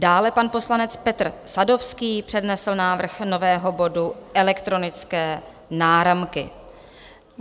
Dále pan poslanec Petr Sadovský přednesl návrh nového bodu Elektronické náramky.